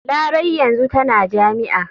Larai yanzu tana jami'a.